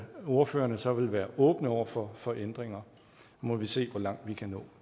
ordførerne så vil være åbne over for for ændringer nu må vi se hvor langt vi kan nå